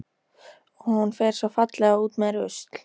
Og hún fer svo fallega út með rusl.